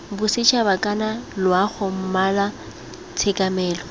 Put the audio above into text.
bosetšhaba kana loago mmala tshekamelo